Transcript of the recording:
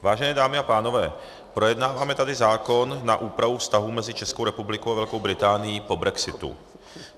Vážené dámy a pánové, projednáváme tady zákon na úpravu vztahů mezi Českou republikou a Velkou Británií po brexitu.